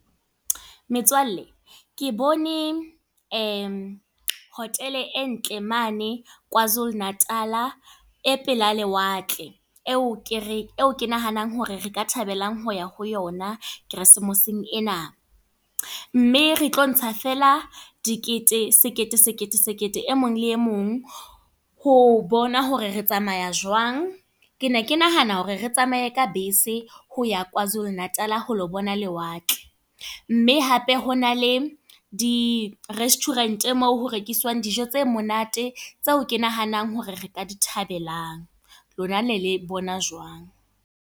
Metswalle, ke bone hotel e ntle mane KwaZulu-Natal. E pela lewatle. E o ke re, e o ke nahanang hore re ka thabelang ho ya ho yona keresemeseng ena. Mme re tlo ntsha fela dikete, sekete, sekete, sekete e mong le e mong ho bona hore re tsamaya jwang. Ke ne ke nahana hore re tsamaye ka bese ho ya KwaZulu-Natal ho lo bona lewatle. Mme hape ho na le di-restaurant moo ho rekiswang dijo tse monate, tseo ke nahanang hore re ka di thabelang. Lona le ne le e bona Jwang?